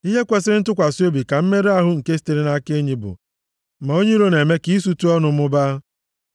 Ihe kwesiri ntụkwasị obi ka mmerụ ahụ nke sitere nʼaka enyi bụ, ma onye iro na-eme ka isutu ọnụ mụbaa.